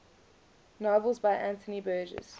novels by anthony burgess